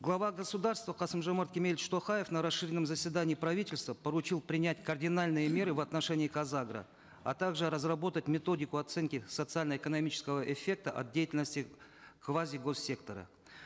глава государства касым жомарт кемелевич токаев на расширенном заседании правительства поручил принять кардинальные меры в отношении казагро а также разработать методику оценки социально экономического эффекта от деятельности квазигоссектора